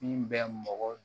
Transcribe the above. Min bɛ mɔgɔ